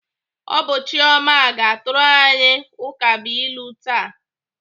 Ọ bụ Chioma ga-atụrụ anyị ukabụilu taa.